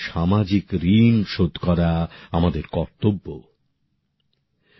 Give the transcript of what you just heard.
সামাজিক ঋণ শোধ করা আমাদের কর্তব্য আমাদের বিচারধারা এরকম হওয়া উচিৎ